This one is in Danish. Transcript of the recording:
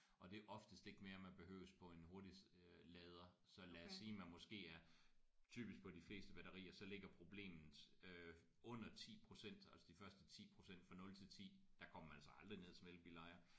Og det er oftest ikke mere man behøves på en hurtig øh lader så lad os sige man måske er typisk på de fleste batterier så ligger problemet øh under 10% altså de første 10% fra 0 til 10 der går man altså aldrig ned som elbilejer